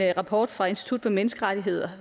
rapport fra institut for menneskerettigheder